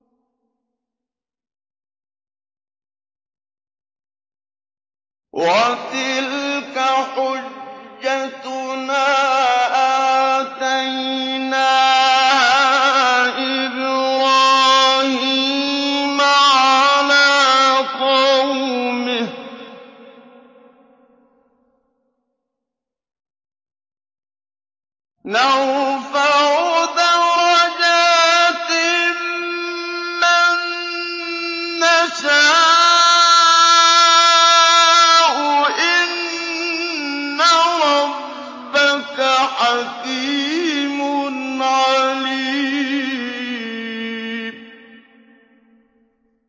وَتِلْكَ حُجَّتُنَا آتَيْنَاهَا إِبْرَاهِيمَ عَلَىٰ قَوْمِهِ ۚ نَرْفَعُ دَرَجَاتٍ مَّن نَّشَاءُ ۗ إِنَّ رَبَّكَ حَكِيمٌ عَلِيمٌ